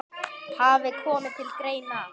hafi komið til greina.